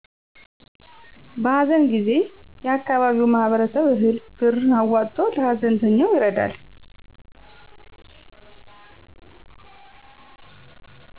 በሀዘን ጊዜ የአካባቢው ማህበረሰብ እህል፤ ብር አዋጥቶ ለሀዘንተኛው ይረዳል።